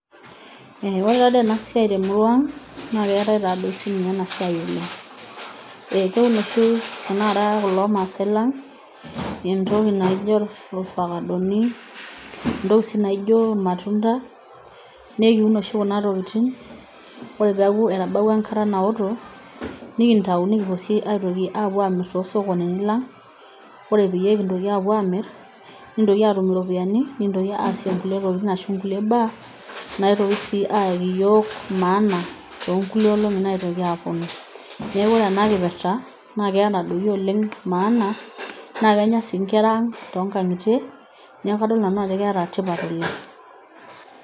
Oore taa doi eena siai tenidol naa keetae taa toi sinye ena siai oleng. Keinosi tanakata kulo maasae lang, entoki naijo irfakadoni, entoki sii naijo irmatunda, naa ekiun oshi kuna tokitin oore peyie eiaku etabawua enkata naoto, nekintau nekintoki aapuo sii apuo aamir tosokonini lang, oore peyie kintoki aapuo amir, nekintoki atum iropiyiani nekintoki aasie inkulie tokitin arshu inkulie baa, naitoki sii ayaki iyiok maana tonkulie olong'i naitoki aponu.